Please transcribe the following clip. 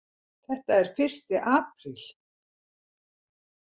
Þetta er fyrsti apríl.